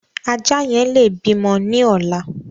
Ajá yẹn lè bímọ ní ọ̀la.